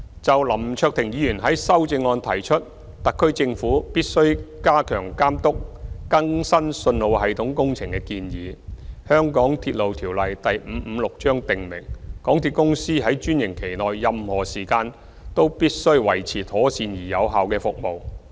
就林卓廷議員在修正案中提出特區政府必須加強監督更新信號系統工程的建議，《香港鐵路條例》訂明港鐵公司在專營期內任何時間均須維持妥善而有效率的服務。